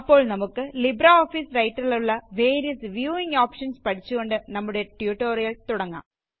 അപ്പോള് നമുക്ക് ലിബ്രെഓഫീസ് റൈറ്ററിലുള്ള വേരിയസ് വ്യൂവിംഗ് ഓപ്ഷന്സ് പഠിച്ചുകൊണ്ട് നമ്മുടെ ട്യൂട്ടോറിയല് തുടങ്ങാം